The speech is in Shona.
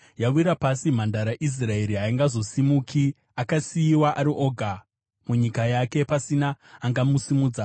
“Yawira pasi Mhandara Israeri, haingazosimukizve, akasiyiwa ari oga munyika yake, pasina angamusimudza.”